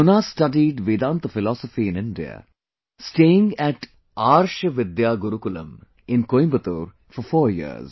Jonas studied Vedanta Philosophy in India, staying at Arsha Vidya Gurukulam in Coimbatore for four years